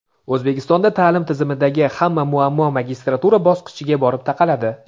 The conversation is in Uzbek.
O‘zbekistonda ta’lim tizimidagi hamma muammo magistratura bosqichiga borib taqaladi.